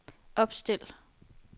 opstil